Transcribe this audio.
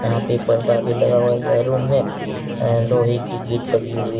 यहाँ पे पर्दा भी लगा हुआ है रूम में लोहे की गेट लगी हुई है।